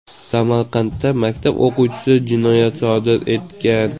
Samarqandda maktab o‘quvchisi jinoyat sodir etgan.